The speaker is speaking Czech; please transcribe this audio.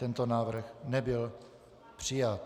Tento návrh nebyl přijat.